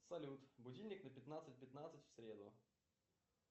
салют будильник на пятнадцать пятнадцать в среду